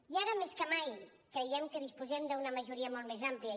i ara més que mai creiem que disposem d’una majoria molt més amplia